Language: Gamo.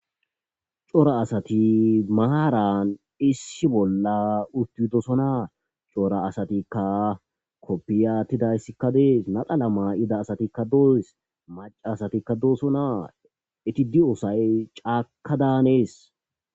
cora asati maaran issi bolla uttidosonaa cora asatikka koppiyattidayssikka dees nadala maa7ida asatikka doyes maca asatikka doosonaa eti di7oosay caaka daanees